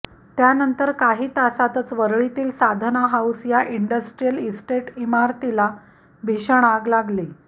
त्यानंतर काही तासातच वरळीतील साधना हाऊस या इंडस्ट्रियल इस्टेट इमारतीला भीषण अाग लागली